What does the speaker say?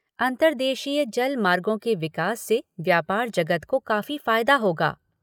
अंतरदेशीय जल मार्गों के विकास से व्यापार जगत को काफी फायदा होगा।